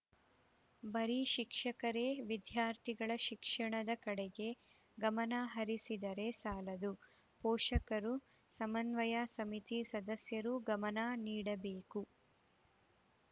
ಬರೀ ಶಿಕ್ಷಕರೇ ವಿದ್ಯಾರ್ಥಿಗಳ ಶಿಕ್ಷಣದ ಕಡೆಗೆ ಗಮನಹರಿಸಿದರೆ ಸಾಲದು ಪೋಷಕರು ಸಮನ್ವಯ ಸಮಿತಿ ಸದಸ್ಯರೂ ಗಮನ ನೀಡಬೇಕು